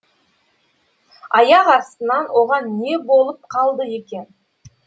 аяқ астынан оған не болып қалды екен